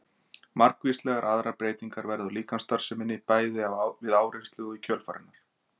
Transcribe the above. margvíslegar aðrar breytingar verða á líkamsstarfseminni bæði við áreynslu og í kjölfar hennar